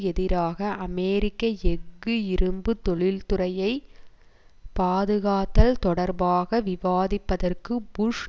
எதிராக அமெரிக்க எஃகு இரும்பு தொழிற்துறையைப் பாதுகாத்தல் தொடர்பாக விவாதிப்பதற்கு புஷ்